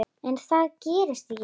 En það gerist ekki.